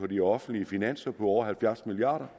de offentlige finanser på over halvfjerds milliard